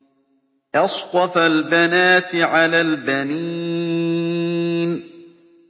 أَصْطَفَى الْبَنَاتِ عَلَى الْبَنِينَ